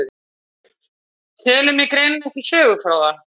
Telur mig greinilega ekki sögufróða.